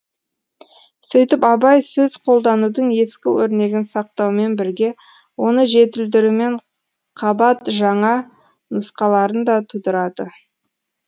сөйтіп абай сөз қолданудың ескі өрнегін сақтаумен бірге оны жетілдірумен қабат жаңа нұсқаларын да тудырады